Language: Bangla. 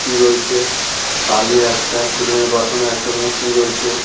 টি রয়েছে কালীর একটা পাথনে একটা মূর্তি রয়েছে।